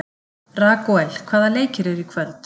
Ragúel, hvaða leikir eru í kvöld?